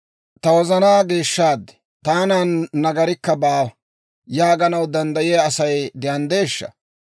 «Ta wozanaa geeshshaad; taanan nagarikka baawa» yaaganaw danddayiyaa Asay de'aneeshsha?